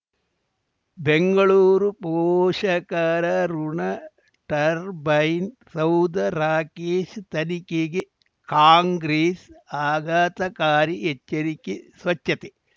ಬೆಂಗಳೂರು ಪೋಷಕರಋಣ ಟರ್ಬೈನ್ ಸೌಧ ರಾಕೇಶ್ ತನಿಖೆಗೆ ಕಾಂಗ್ರೆಸ್ ಆಘಾತಕಾರಿ ಎಚ್ಚರಿಕೆ ಸ್ವಚ್ಛತೆ